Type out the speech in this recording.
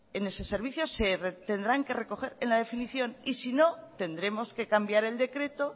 en ese servicio se tendrán que recoger en la definición y si no tendremos que cambiar el decreto